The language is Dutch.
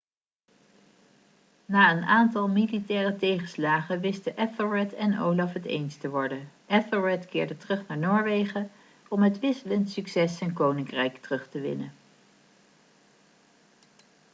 na een aantal militaire tegenslagen wisten ethelred en olaf het eens te worden ethelred keerde terug naar noorwegen om met wisselend succes zijn koninkrijk terug te winnen